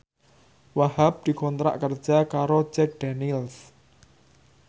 Wahhab dikontrak kerja karo Jack Daniels